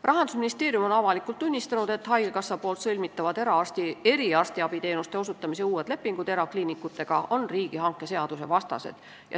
Rahandusministeerium on avalikult tunnistanud, et haigekassa sõlmitavad uued eriarstiabi teenuste osutamise lepingud erakliinikutega on riigihangete seaduse vastased.